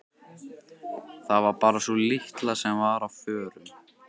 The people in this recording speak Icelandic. Það var bara sú litla sem var á förum.